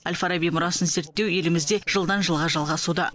әл фараби мұрасын зерттеу елімізде жылдан жылға жалғасуда